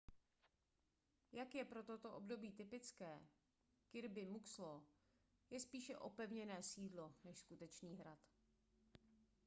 jak je pro toto období typické kirby muxloe je spíše opevněné sídlo než skutečný hrad